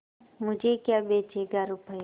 मुझे क्या बेचेगा रुपय्या